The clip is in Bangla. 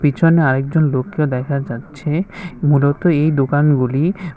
পিছনে আরেকজন লোককে দেখা যাচ্ছে মূলত এই দোকানগুলি--